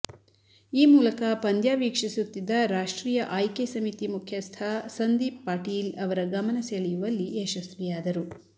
ಈ ಮೂಲಕ ಪಂದ್ಯ ವೀಕ್ಷಿಸುತ್ತಿದ್ದ ರಾಷ್ಟ್ರೀಯ ಆಯ್ಕೆ ಸಮಿತಿ ಮುಖ್ಯಸ್ಥ ಸಂದೀಪ್ ಪಾಟೀಲ್ ಅವರ ಗಮನ ಸೆಳೆಯುವಲ್ಲಿ ಯಶಸ್ವಿಯಾದರು